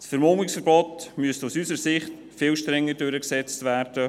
Das Vermummungsverbot müsste aus unserer Sicht viel strenger durchgesetzt werden.